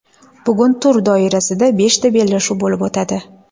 Bugun tur doirasida beshta bellashuv bo‘lib o‘tadi.